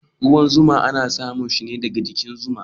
Ruwan zuma ana samun sa ne daga jikin zuwa.